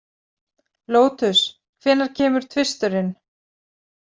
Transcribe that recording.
Lótus, hvenær kemur tvisturinn?